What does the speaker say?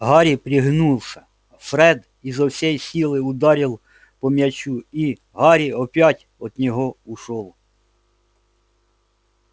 гарри пригнулся фред изо всей силы ударил по мячу и гарри опять от него ушёл